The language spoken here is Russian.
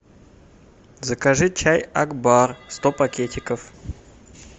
закажи чай акбар сто пакетиков